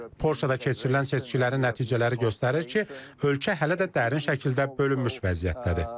Polşada keçirilən seçkilərin nəticələri göstərir ki, ölkə hələ də dərin şəkildə bölünmüş vəziyyətdədir.